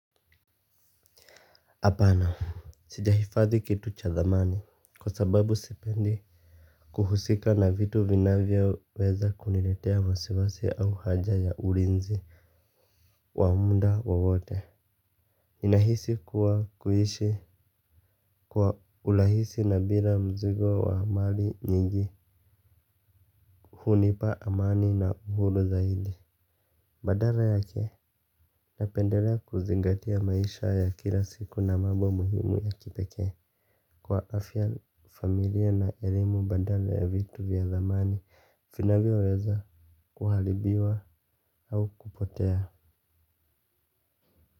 Hapana. Sijahifadhi kitu cha zamani kwa sababu sipendi. Kuhusika na vitu vinavyoweza kuniletea wasiwasi au haja ya ulinzi wa muda wowote ninahisi kuwa kuishi kwa urahisi na bila mzigo wa mali nyingi. Hunipa amani na uhuru zaidi. Badala yake napendelea kuzingatia maisha ya kila siku na mambo muhimu ya kipekee kwa afya familia na elimu badala ya vitu vya zamani vinavyoweza kuharibiwa au kupotea.